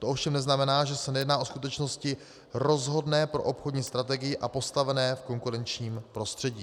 To ovšem neznamená, že se nejedná o skutečnosti rozhodné pro obchodní strategii a postavení v konkurenčním prostředí.